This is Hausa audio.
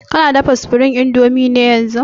Kana dafa supreme indomie ne yanzun>